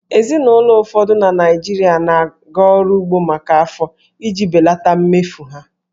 Ezinụlọ ụfọdụ na Naịjirịa na-aga ọrụ ugbo maka afọ iji belata mmefu ha